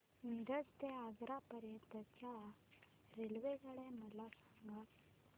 मिरज ते आग्रा पर्यंत च्या रेल्वे मला सांगा